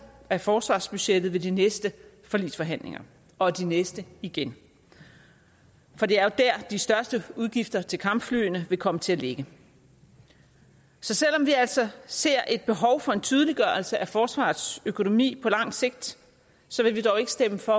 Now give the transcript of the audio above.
af forsvarsbudgettet ved de næste forligsforhandlinger og de næste igen for det er jo der de største udgifter til kampflyene vil komme til at ligge så selv om vi altså ser et behov for en tydeliggørelse af forsvarets økonomi på lang sigt vil vi dog ikke stemme for